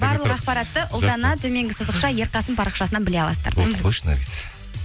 барлық ақпаратты ұлдана төменгі сызықша ерқасын парақшасынан біле аласыздар болды қойшы наргиз